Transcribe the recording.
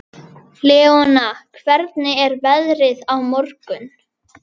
Leona, hvernig er veðrið á morgun?